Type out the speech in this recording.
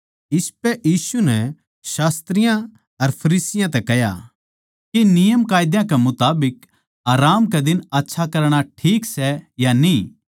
इसपै यीशु नै शास्त्रियाँ अर फरीसियाँ तै कह्या के नियमकायदा के मुताबिक आराम कै दिन आच्छा करणा ठीक सै या न्ही